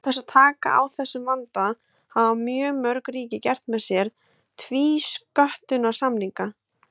Til þess að taka á þessum vanda hafa mörg ríki gert með sér tvísköttunarsamninga.